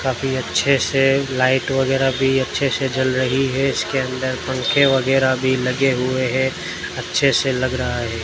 काफी अच्छे से लाइट वगैरा भी अच्छे से जल रही है इसके अंदर पंखे वगैरह भी लगे हुए हैं अच्छे से लग रहा है।